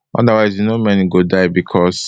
otherwise you know many go die becos